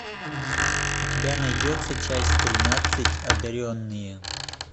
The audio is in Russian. у тебя найдется часть тринадцать одаренные